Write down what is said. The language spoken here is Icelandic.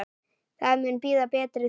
Það mun bíða betri tíma.